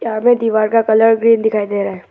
हमें दीवार का कलर ग्रीन दिखाई दे रहा है।